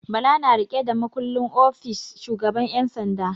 Bala na riƙe da makullin ofis shugaban 'yan sanda.